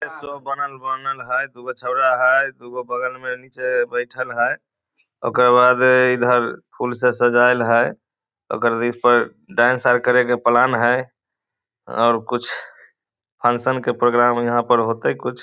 ईसा बनल बनाएल हेय दूगौ छोड़ा हेय दूगौ बगल में निचे बइठल हेय ओकर बादे इधर फूल से सजाइल हई ओकर रिस पर डांस करे के प्लान हइ और कुछ फंक्शन के प्रोग्राम हेय यहां पर होते कुछ --